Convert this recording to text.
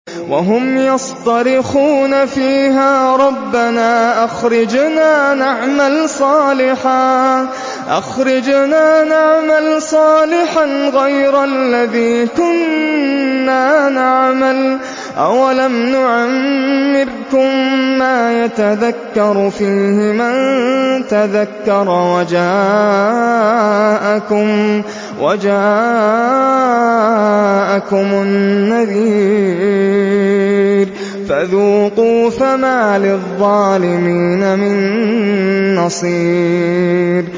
وَهُمْ يَصْطَرِخُونَ فِيهَا رَبَّنَا أَخْرِجْنَا نَعْمَلْ صَالِحًا غَيْرَ الَّذِي كُنَّا نَعْمَلُ ۚ أَوَلَمْ نُعَمِّرْكُم مَّا يَتَذَكَّرُ فِيهِ مَن تَذَكَّرَ وَجَاءَكُمُ النَّذِيرُ ۖ فَذُوقُوا فَمَا لِلظَّالِمِينَ مِن نَّصِيرٍ